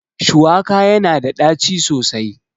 Shuwaka yana da ɗaci sosai